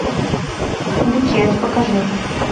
букет покажи